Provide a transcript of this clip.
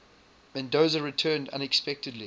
mendoza returned unexpectedly